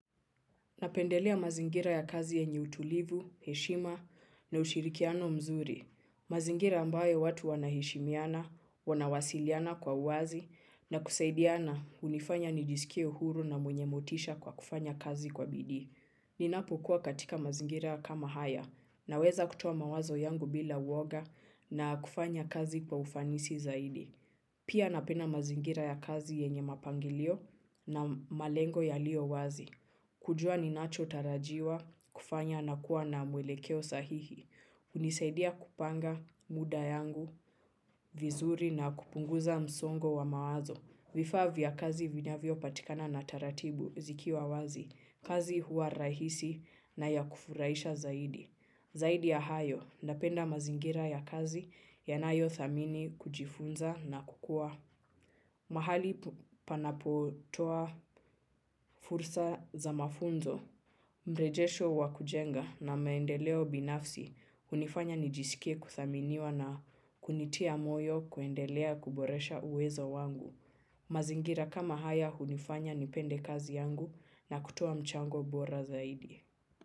Napendelea mazingira ya kazi yenye utulivu, heshima na ushirikiano mzuri. Mazingira ambayo watu wanaheshimiana, wanawasiliana kwa uwazi na kusaidiana hunifanya nijisikie huru na mwenye motisha kwa kufanya kazi kwa bidii. Ninapokuwa katika mazingira kama haya, naweza kutoa mawazo yangu bila uoga na pia napenda mazingira ya kazi yenye mapangilio na malengo yalio wazi. Kujua ninachotarajiwa kufanya na kuwa na mwelekeo sahihi. Hunisaidia kupanga muda yangu, vizuri na kupunguza msongo wa mawazo. Vifaa vya kazi vinyavyopatikana na taratibu zikiwa wazi. Kazi huwa rahisi na ya kufurahisha zaidi. Zaidi ya hayo, napenda mazingira ya kazi yanayothamini kujifunza na kukua. Mahali panapotoa fursa za mafunzo, mrejesho wa kujenga na maendeleo binafsi, hunifanya nijisikie kuthaminiwa na kunitia moyo kuendelea kuboresha uwezo wangu. Mazingira kama haya hunifanya nipende kazi yangu na kutoa mchango bora zaidi.